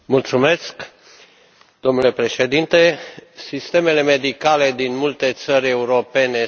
Domnule președinte, sistemele medicale din multe țări europene se află în suferință.